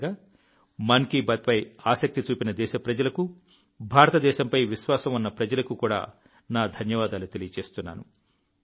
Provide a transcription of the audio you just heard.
చివరగా మన్ కీ బాత్పై ఆసక్తి చూపిన దేశప్రజలకు భారతదేశంపై విశ్వాసం ఉన్న ప్రజలకు కూడా నా ధన్యవాదాలు తెలియజేస్తున్నాను